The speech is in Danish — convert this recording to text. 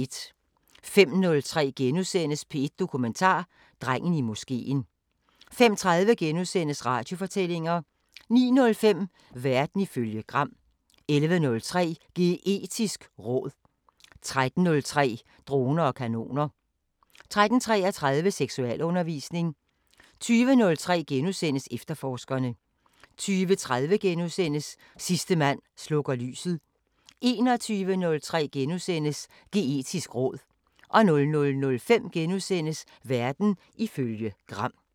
05:03: P1 Dokumentar: Drengen i moskeen * 05:30: Radiofortællinger * 09:05: Verden ifølge Gram 11:03: Geetisk råd 13:03: Droner og kanoner 13:33: Seksualundervisning 20:03: Efterforskerne * 20:30: Sidste mand slukker lyset * 21:03: Geetisk råd * 00:05: Verden ifølge Gram *